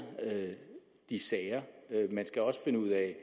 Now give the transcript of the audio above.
de her sager man skal også finde ud af